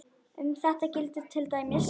Um þetta gildir til dæmis